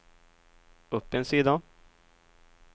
upp en sida